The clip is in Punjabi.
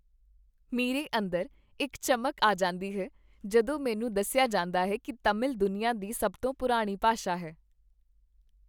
ਮੇਰੇ ਅੰਦਰ ਇੱਕ ਚਮਕ ਆ ਜਾਂਦੀ ਹੈ ਜਦੋਂ ਮੈਨੂੰ ਦੱਸਿਆ ਜਾਂਦਾ ਹੈ ਕੀ ਤਾਮਿਲ ਦੁਨੀਆਂ ਦੀ ਸਭ ਤੋਂ ਪੁਰਾਣੀ ਭਾਸ਼ਾ ਹੈ।